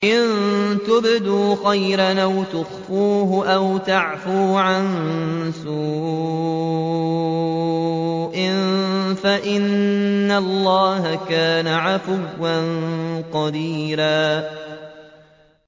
إِن تُبْدُوا خَيْرًا أَوْ تُخْفُوهُ أَوْ تَعْفُوا عَن سُوءٍ فَإِنَّ اللَّهَ كَانَ عَفُوًّا قَدِيرًا